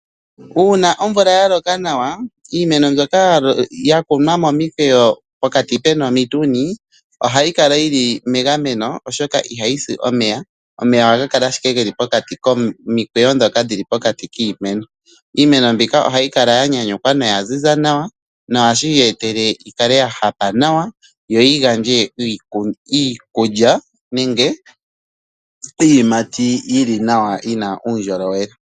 Uuna omvula ya loka nawa, iimeno mbyoka ya kunwa momikwayo pokati pu na omituni ohayi kala yi li megameno, oshoka ihayi si omeya. Omeya ohaga kala owala ge li pokati komikweyo ndhoka dhi li po pokati kiimeno. Iimeno mbika ohayi kala ya nyanyukwa noya ziza nawa nohashi yi etele yi kale ya hapa nawa yo yi gandje iikulya nenge iiyimati yi li nawa yi na uundjolowele.